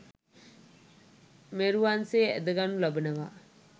මෙරුවන් සේ ඇඳ ගනු ලබනවා.